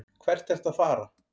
Hvert ertu að fara?